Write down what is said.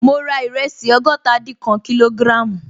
Ma ra ìrẹsì ọgọ́tadinkan kg